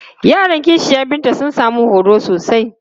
Yaran ƙishiyar Binta sun sami horo sosai.